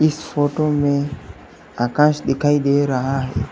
इस फोटो में आकाश दिखाई दे रहा--